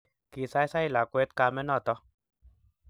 Kisaisai lakwet kamet noto